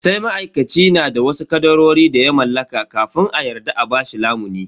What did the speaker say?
Sai ma'aikaci na da wasu kadarori da ya mallaka kafin a yarda a bashi lamuni.